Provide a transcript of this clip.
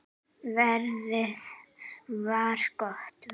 Veðrið var gott.